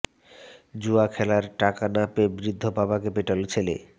জুয়া খেলার টাকা না পেয়ে বৃদ্ধ বাবাকে পেটাল ছেলে